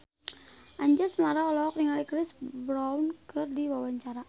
Anjasmara olohok ningali Chris Brown keur diwawancara